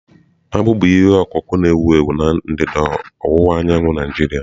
Akpụ bụ ihe ọkụkụ na-ewu ewu na ndịda ọwụwa anyanwụ Naijiria.